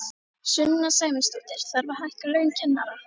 Sunna Sæmundsdóttir: Þarf að hækka laun kennara?